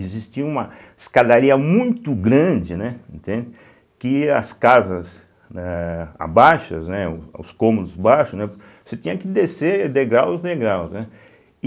Existia uma escadaria muito grande, né, não tem, que as casas eh abaixas né, os cômodos baixos, né, você tinha que descer degrau em degrau, né.